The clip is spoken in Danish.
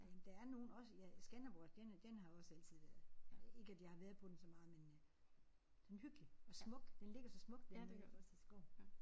Men der er nogle også ja Skanderborg den er den har også altid været ikke at jeg har været på den så meget men øh den er hyggelig og smuk. Den ligger så smukt dernede iggås i skoven